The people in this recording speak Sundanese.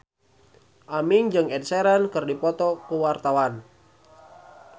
Aming jeung Ed Sheeran keur dipoto ku wartawan